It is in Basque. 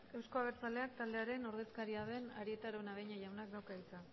euzko abertzaleak taldearen ordezkaria den arieta araunabeña jauna dauka hitza